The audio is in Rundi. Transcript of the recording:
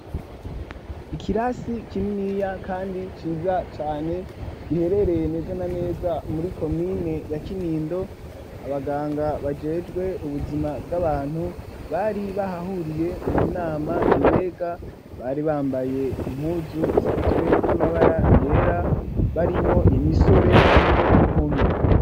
Ikirasi kininiya kandi ciza cane, giherereye neza na neza muri komine ya Kinindo abaganga bajejwe ubuzima bw'abantu bari bahahuriye mu nama ibega, bari bambaye impuzu zigizwe n'amabara yera barimwo imisore hamwe n'inkumi.